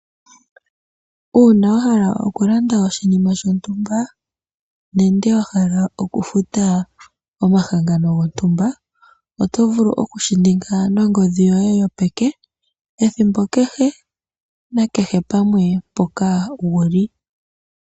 Uuna wa hala okulanda oshinima shontumba nenge wa hala okufuta omahangano gontumba oto vulu okushi ninga nongodhi yoye yopeke ethimbo kehe nakehe pamwe mpoka wu li.